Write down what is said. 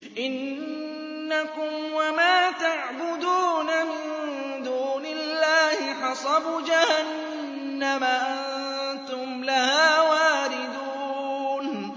إِنَّكُمْ وَمَا تَعْبُدُونَ مِن دُونِ اللَّهِ حَصَبُ جَهَنَّمَ أَنتُمْ لَهَا وَارِدُونَ